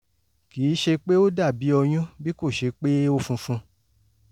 kì í ṣe pé ó dàbí ọyún bí kò ṣe pé ó funfun